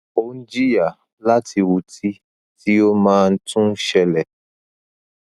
o n jiya lati uti ti o maa n tun n ṣẹlẹ